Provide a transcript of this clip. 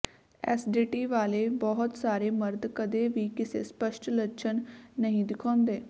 STD ਵਾਲੇ ਬਹੁਤ ਸਾਰੇ ਮਰਦ ਕਦੇ ਵੀ ਕਿਸੇ ਸਪੱਸ਼ਟ ਲੱਛਣ ਨਹੀਂ ਦਿਖਾਉਂਦੇ